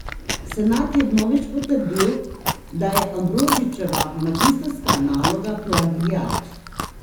Senat je vnovič potrdil, da je Ambrožičeva magistrska naloga plagiat.